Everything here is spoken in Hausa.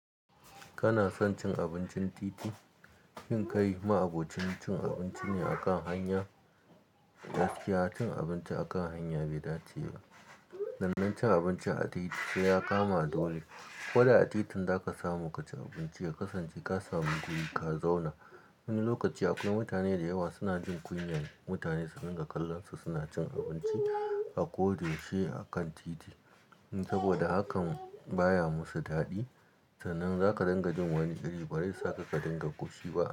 Kana son cin abincin titi? In kai ma'abocin cin abinci ne akan hanya, gaskiya cin abinci akan hanya bai dace ba. Sannan cin abinci a titi sai ya kama duwai. Koda a titin zaka samu ka ci abinci ka kasance ka samu guri ka zauna. Wani lokaci akwai mutane da yawa suna jin kunya, mutane suna dinga kallon su suna cin abinci, a ko da yaushe akan titi. In saboda hakan baya musu daɗi. Sannan zaka dinga jin wani iri bari saka ka dinga ƙoshi ba.